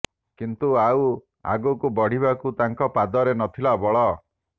କିନ୍ତୁ ଆଉ ଆଗକୁ ବଢ଼ିବାକୁ ତାଙ୍କ ପାଦରେ ନଥିଲା ବଳ